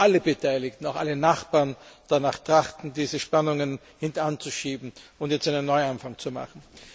Wir hoffen, dass alle Beteiligten, auch alle Nachbarn, danach trachten, diese Spannungen hintan zu schieben und jetzt einen Neuanfang zu machen.